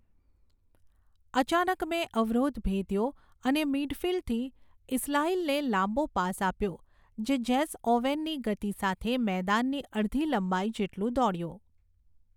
અચાનક મેં અવરોધ ભેદ્યો અને મિડફિલ્ડથી ઇસ્લાઇલને લાંબો પાસ આપ્યો, જે જેસ્સ ઓવેનની ગતિ સાથે મેદાનની અડધી લંબાઈ જેટલું દોડ્યો.